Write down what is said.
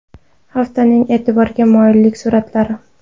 Haftaning e’tiborga molik suratlari.